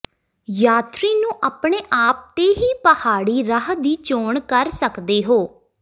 ਯਾਤਰੀ ਨੂੰ ਆਪਣੇ ਆਪ ਤੇ ਹੀ ਪਹਾੜੀ ਰਾਹ ਦੀ ਚੋਣ ਕਰ ਸਕਦੇ ਹੋ